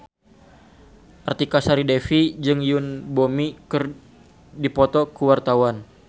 Artika Sari Devi jeung Yoon Bomi keur dipoto ku wartawan